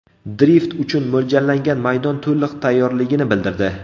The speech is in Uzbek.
Drift uchun mo‘ljallangan maydon to‘liq tayyorligini bildirdi.